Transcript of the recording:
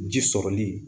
Ji sɔrɔli